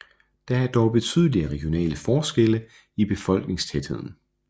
Der er dog betydelige regionale forskelle i befolkningstætheden